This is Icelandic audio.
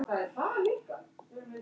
Hún var hress.